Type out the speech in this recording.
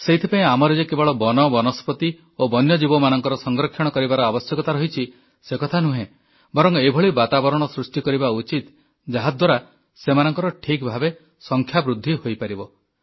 ସେଥିପାଇଁ ଆମର ଯେ କେବଳ ବନ ବନସ୍ପତି ଓ ବନ୍ୟଜୀବମାନଙ୍କର ସଂରକ୍ଷଣ କରିବାର ଆବଶ୍ୟକତା ରହିଛି ସେକଥା ନୁହେଁ ବରଂ ଏଭଳି ବାତାବରଣ ସୃଷ୍ଟି କରିବା ଉଚିତ ଯାହାଦ୍ୱାରା ସେମାନଙ୍କର ଠିକ୍ ଭାବେ ସଂଖ୍ୟା ବୃଦ୍ଧି ହୋଇପାରିବ